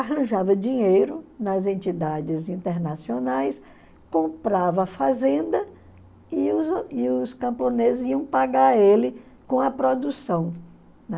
Arranjava dinheiro nas entidades internacionais, comprava fazenda e os e os camponeses iam pagar ele com a produção, né?